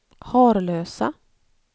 Harlösa